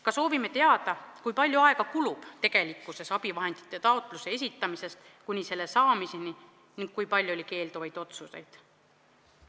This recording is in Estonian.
Ka soovime teada, kui palju aega kulub tegelikkuses abivahendi taotluse esitamisest kuni selle vahendi saamiseni ning kui palju on olnud keelduvaid otsuseid.